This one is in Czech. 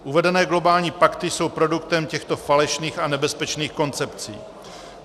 Uvedené globální pakty jsou produktem těchto falešných a nebezpečných koncepcí.